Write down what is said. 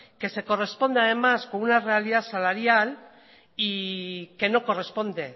que se corresponde además con una realidad salarial y que no corresponde